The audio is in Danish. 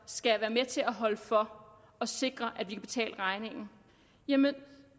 skal være med til at holde for og sikre at vi kan betale regningen jamen